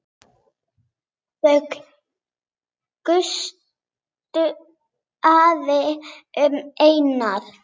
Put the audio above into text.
Það gustaði um Einar.